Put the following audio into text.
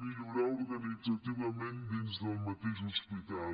millorar organitzativament dins del mateix hospital